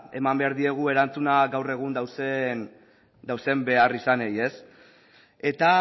eman behar diegu erantzuna gaur egun dauden beharrizanei eta